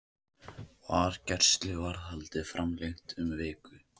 Var gæsluvarðhaldið framlengt um viku